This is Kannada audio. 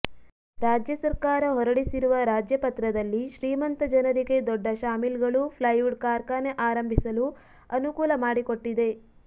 ರಾಜ್ಯ ಸರ್ಕಾರ ಹೊರಡಿಸಿರುವ ರಾಜ್ಯಪತ್ರದಲ್ಲಿ ಶ್ರೀಮಂತ ಜನರಿಗೆ ದೊಡ್ಡ ಸಾಮಿಲ್ಗಳು ಫ್ಲೈವುಡ್ ಕಾರ್ಖಾನೆ ಆರಂಭಿಸಲು ಅನುಕೂಲಮಾಡಿಕೊಟ್ಟಿದೆ